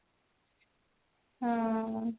ହଁ